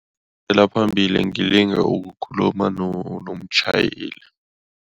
La phambili ngilinga ukukhuluma nomtjhayeli.